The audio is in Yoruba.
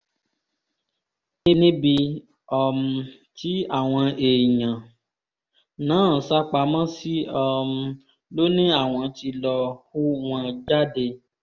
níbi um tí àwọn èèyàn náà sá pamọ́ sí um ló ní àwọn tí lọ́ọ́ hú wọn jáde